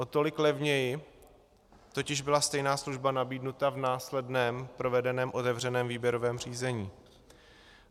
O tolik levněji totiž byla stejná služba nabídnuta v následně provedeném otevřeném výběrovém řízení.